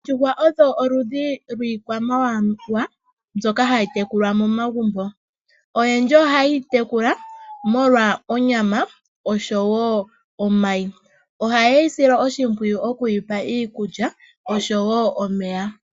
Oondjuhwa odho oludhi lwikwamawawa mbyoka hayi tekulwa momagumbo. Oyendji oha yedhi tekula molwa onyama osho wo omayi, oha yedhi sile oshimpwiyu oku dhipa iikulya osho wo omeya.